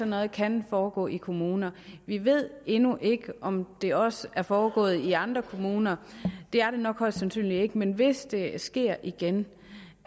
noget kan foregå i kommuner vi ved endnu ikke om det også er foregået i andre kommuner det er det nok højst sandsynligt ikke men hvis det sker igen